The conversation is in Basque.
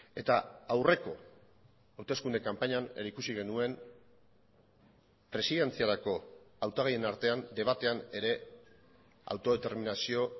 eta aurreko hauteskunde kanpainan ere ikusi genuen presidentziarako hautagaien artean debatean ere autodeterminazio